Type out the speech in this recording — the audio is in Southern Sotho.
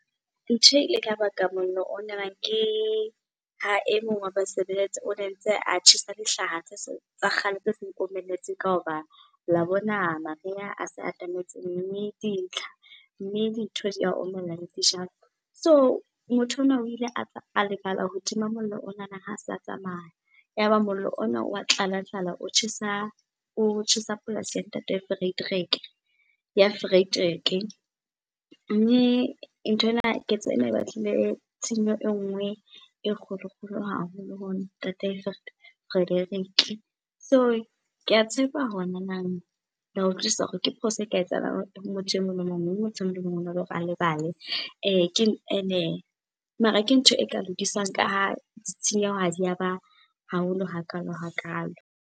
Ntho e ileng ya baka mollo o nanang, ke ha e mong wa basebeletsi o ne ntse a tjhesa dihlaha tse , tsa kgale tse se di omelletse, ka hoba la bona mariha a sa atametseng mme , mme dintho di a omella le dijalo. So motho ona o ile a a lebala ho tima mollo o nana ha se a tsamaya. Yaba mollo ona wa tlalatlala o tjhesa, o tjhesa polasi ya Ntate Frederick, ya Frederick. Mme nthwena, ketso ena e batlile tshenyo e nngwe e kgolo-kgolo haholo ho Ntate Frederick. So ke a tshepa hore nanang, la utlwisisa hore ke phoso e ka etsahalang ho motho e mong le emong mme motho emong le emong ona le hore a lebale. Ene, mare ke ntho e ka lokiswang ka ha di tshenyeho ha di ya ba haholo hakalo-hakalo.